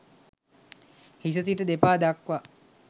හිස සිට දෙපා දක්වා